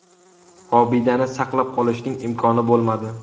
Obidani saqlab qolishning imkoni bo‘lmadi.